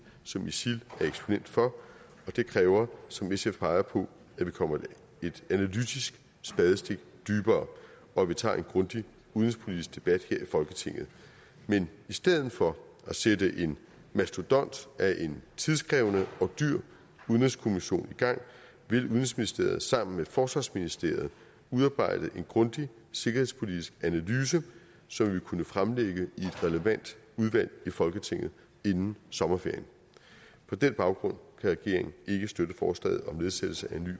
som isil er eksponent for og det kræver som sf peger på at vi kommer et analytisk spadestik dybere og at vi tager en grundig udenrigspolitisk debat her i folketinget men i stedet for at sætte en mastodont af en tidskrævende og dyr udenrigskommission i gang vil udenrigsministeriet sammen med forsvarsministeriet udarbejde en grundig sikkerhedspolitisk analyse som vi vil kunne fremlægge i et relevant udvalg i folketinget inden sommerferien på den baggrund kan regeringen ikke støtte forslaget om nedsættelse